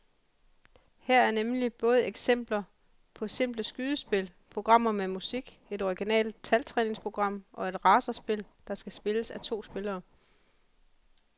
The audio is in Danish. Her er nemlig både eksempler på simple skydespil, programmer med musik, et originalt taltræningsprogram og et racerspil, der kan spilles af to spillere.